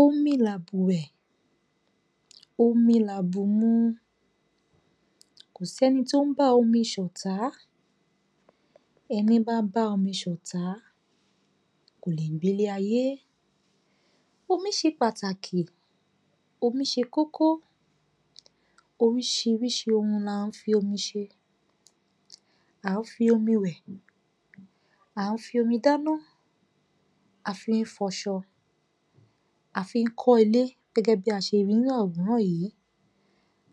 Omi làbùwẹ̀, omi làbùmu, kò sí ẹni tó bá omi ṣọ̀tá ẹní bá bá omi ṣọ̀tá, kò lè gbé ilé-ayé. Omí ṣe pàtàkì, omi ṣe kókó oríṣiríṣi ohun là ń fi omi ṣe. À ń fi omi wẹ̀, à ń fi omi dáná, a fí ń fọṣọ, a fí ń kọ́ ilé gẹ́gẹ́bí a ṣe ri nínú àwòrán yìí.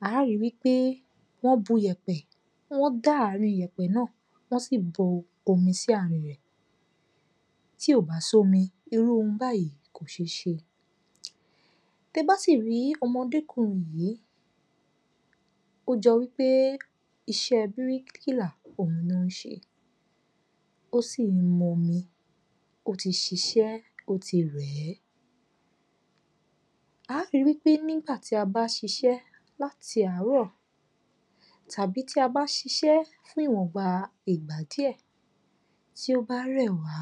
A ri wí pé wọ́n bu iyẹ̀pẹ̀, wọ́n dá àárín iyẹ̀pẹ̀ náà, wọ́n sì bu omi sí àárín rẹ̀. Tí ò bá sí omi, irú ohun báyìí kò ṣééṣe. Tẹ bá sì rí ọmọdé kùnrin yìí, ó jọ wí pé iṣẹ́ bíríkìlà òun ló ń ṣe ó sì ń mu omi. Ó ti ṣiṣẹ́ ó ti rẹ̀ẹ́. A rí wí pé nígbà tí a bá ṣiṣẹ́ láti àárọ̀ tàbí tí a bá ṣiṣẹ́ fún ìwọ̀nba ìgbà díẹ̀, tí ó bá rẹ̀ wá,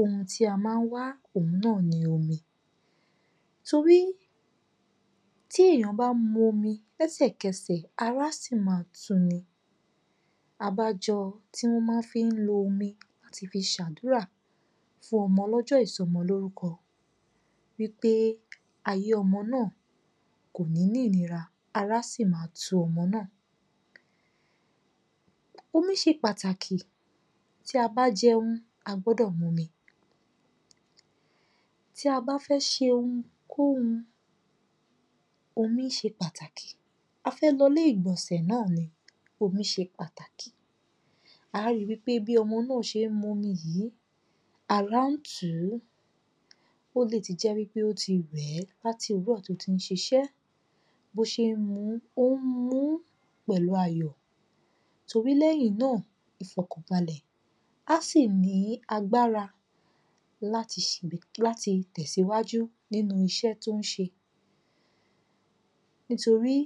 ohun tí a máa ń wá òhun náà ni omi. Torí tí èèyàn bá mu omi, lẹ́sẹ̀kẹsẹ̀ ará sì máa tu ni. Abájọ tí wọ́n má fí ń lo omi láti fi ṣàdúrà fún ọmọ lọ́jọ́ ìsọmọlórúkọ wí pé ayé ọmọ náà kò ní ní ìnira, ara sì máa tu ọmọ náà. Omi ṣe pàtàkì tí a bá jẹun, a gbọ́dọ̀ mu omi, tí a bá fẹ́ ṣe ohunkóhun, omí ṣe pàtàkì, a fẹ́ lọ ilé ìgbọ̀nsẹ̀ náà ni, omí ṣe pàtàkì. Á ri wí pé bí ọmọ náà ṣé ń mu omí yìí, ara ń tùú ó lè ti jẹ́ wí pé ó ti rẹ̀ẹ́ láti òwúrọ̀ tó tí ń ṣiṣẹ́. Bó ṣé ń muú, ó ń muú pẹ̀lú ayọ̀ torí lẹ́yìn náà, ìfọ̀kànbalẹ̀, á sì ní agbára láti láti tẹ̀síwájú nínú iṣẹ́ tó ń ṣe nítorí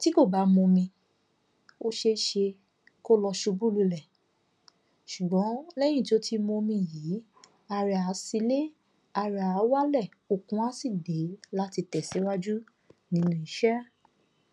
tí kò bá mu omi ó ṣééṣe kò lo ṣubú lulẹ̀ ṣùgbọ́n lẹ́yìn tó ti mu omi yìí ara ẹ̀ á sinlé ara ẹ̀ á wálẹ̀ okun á sì dé láti tẹ̀síwájú nínú iṣẹ́